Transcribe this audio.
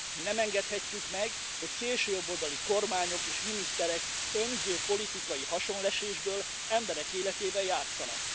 Nem engedhetjük meg, hogy szélsőjobboldali kormányok és miniszterek önző politikai haszonlesésből emberek életével játsszanak.